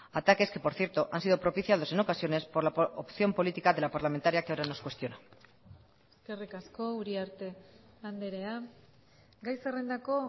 ataques que por cierto han sido propiciados en ocasiones por la opción política de la parlamentaria que ahora nos cuestiona eskerrik asko uriarte andrea gai zerrendako